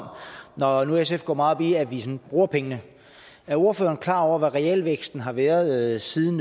når nu sf går meget op i at vi bruger pengene er ordføreren så klar over hvad realvæksten har været siden